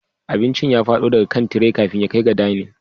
Abincin ya fado daga kan tire kafin ya kai ga dining